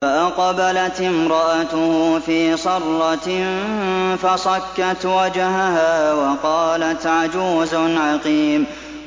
فَأَقْبَلَتِ امْرَأَتُهُ فِي صَرَّةٍ فَصَكَّتْ وَجْهَهَا وَقَالَتْ عَجُوزٌ عَقِيمٌ